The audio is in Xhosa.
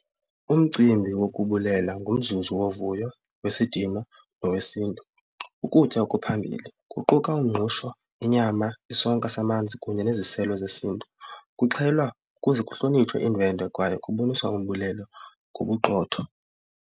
Umcimbi wokubulela ngumzuzu wovuyo wesidima nowesiNtu. Ukutya okuphambili kuquka umngqusho, inyama, isonka samanzi kunye neziselo zesiNtu. Kuxhelwa kuze kuhlonitshwe iindwendwe kwayo kuboniswa umbulelo ngobuqotho.